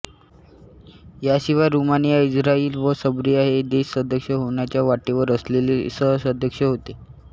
यांशिवाय Romania Israel व Serbia हे देश सदस्य होण्याच्या वाटेवर असलेले सहसदस्य होते